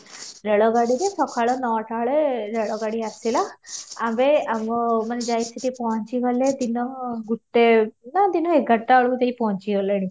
ରେଳ ଗାଡ଼ିରେ ସକାଳ ନଅ ଟା ବେଳେ ରେଳ ଗାଡି ଆସିଲା, ଆମେ ଆମ ମାନେ ଯାଇକି ସେଠି ପହଞ୍ଚି ଗଲେ ଦିନ ଗୋଟେ ନା ଦିନ ଏଗାର ଟା ବେଳେ ସେଠି ପହଞ୍ଚି ଗଲେଣି